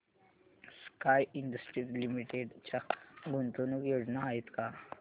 sky Industries Limited च्या गुंतवणूक योजना आहेत का